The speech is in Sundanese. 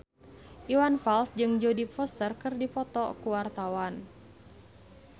Iwan Fals jeung Jodie Foster keur dipoto ku wartawan